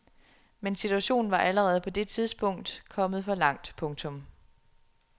Men situationen var allerede på det tidspunkt kommet for langt. punktum